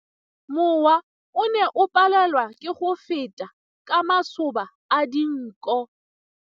Mowa o ne o palelwa ke go feta ka masoba a dinko.